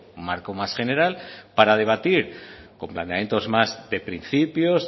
un marco más general para debatir con planteamientos más de principios